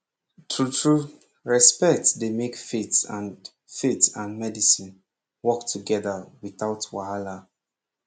trutru respect dey make faith and faith and medicine work togeda without wahala